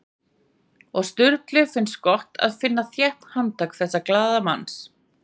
Og Sturlu finnst gott að finna þétt handtak þessa glaðlega manns.